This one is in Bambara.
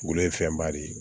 Wulu ye fɛnba de ye